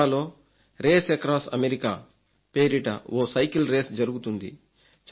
అమెరికాలో race across America పేరిట ఓ సైకిల్ రేస్ జరుగుతుంది